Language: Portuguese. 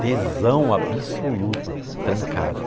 Tesão absoluto, trancado.